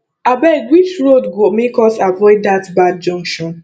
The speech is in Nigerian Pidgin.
abeg which road go make us avoid dat bad junction